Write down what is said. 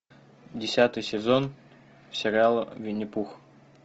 десятый сезон сериала винни пух